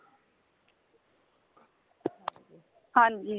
ਹਾਂਜੀ